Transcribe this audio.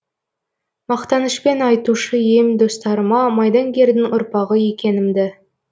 мақтанышпен айтушы ем достарыма майдангердің ұрпағы екенімді